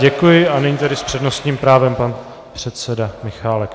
Děkuji a nyní tedy s přednostním právem pan předseda Michálek.